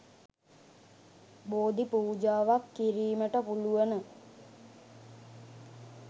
බෝධි පූජාවක් කිරීමට පුළුවන.